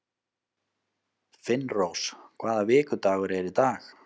Finnrós, hvaða vikudagur er í dag?